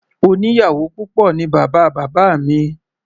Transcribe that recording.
Oníyàwò púpọ̀ ní bàbá bábá mi.